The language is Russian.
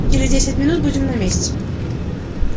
и через десять минут будем на месте